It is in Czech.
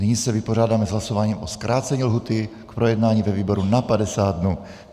Nyní se vypořádáme s hlasováním o zkrácení lhůty k projednání ve výboru na 50 dnů.